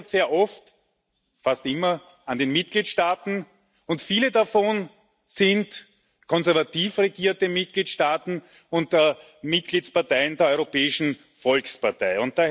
Die scheitert sehr oft fast immer an den Mitgliedsstaaten, und viele davon sind konservativ regierte Mitgliedsstaaten unter Mitgliedsparteien der Europäischen Volkspartei.